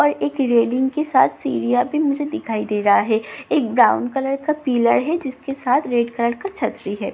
और एक रैलिंग के साथ सीढि़यां भी मुझे दिखाई दे रहा है एक ब्राउन कलर का पीलर है जिसके साथ रेड कलर का छत भी है ।